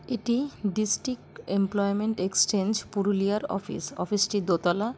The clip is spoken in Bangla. এটি ডিস্ট্রিক্ট এমপ্লয়মেন্ট এক্সচেঞ্জ পুরুলিয়ার অফিস অফিস -টি দোতলা।